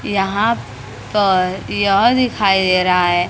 यहां पर यह दिखाई दे रहा है--